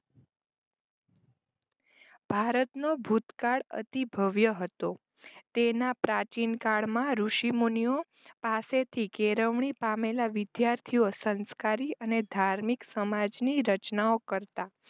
ભારતનો ભૂતકાળ અતિભવ્ય હતો તેમાં પ્રાચીનકાળમાં ઋષિમુનિઓ પાસેથી કેળવણી પામેલા વિદ્યાર્થીઓ સંસ્કારી અને ધાર્મિક સમાજની રચનાઓ કરતા.